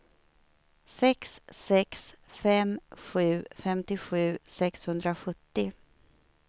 sex sex fem sju femtiosju sexhundrasjuttio